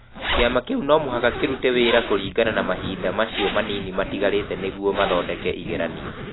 Kĩama kĩu no mũhaka kĩrute wĩra kũringana na mahinda acio manini matigarĩte nĩguo mathondeke igeranio.